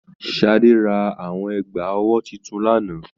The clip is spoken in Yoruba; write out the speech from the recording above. Sadé rà àwọn ẹgba ọwọ títún l'ana.